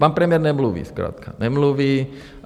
Pan premiér nemluví zkrátka, nemluví.